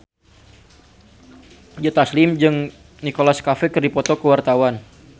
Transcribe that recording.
Joe Taslim jeung Nicholas Cafe keur dipoto ku wartawan